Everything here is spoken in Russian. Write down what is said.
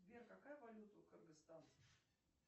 сбер какая валюта у кыргызстана